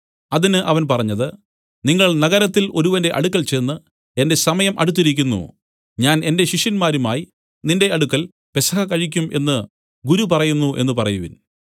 അതിന് അവൻ പറഞ്ഞത് നിങ്ങൾ നഗരത്തിൽ ഒരുവന്റെ അടുക്കൽ ചെന്ന് എന്റെ സമയം അടുത്തിരിക്കുന്നു ഞാൻ എന്റെ ശിഷ്യരുമായി നിന്റെ അടുക്കൽ പെസഹ കഴിക്കും എന്നു ഗുരു പറയുന്നു എന്നു പറയുവിൻ